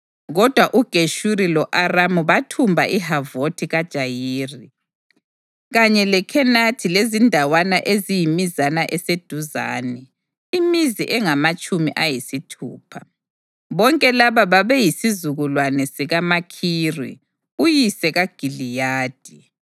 (Kodwa uGeshuri lo-Aramu bathumba iHavothi-Jayiri, kanye leKhenathi lezindawana eziyimizana eseduzane, imizi engamatshumi ayisithupha.) Bonke laba babeyisizukulwane sikaMakhiri uyise kaGiliyadi.